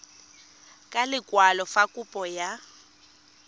ka lekwalo fa kopo ya